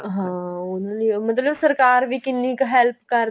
ਹਾਂ ਉਨ੍ਹਾਂ ਲਈ ਮਤਲਬ ਸਰਕਾਰ ਵੀ ਕਿੰਨੀ help ਕਰ